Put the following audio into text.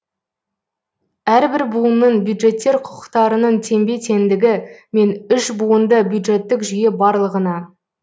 әрбір буынның бюджеттер құқықтарының теңбе теңдігі мен үшбуынды бюджеттік жүйе барлығына